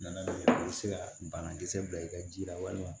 Nana i bɛ se ka banakisɛ bila i ka ji la walima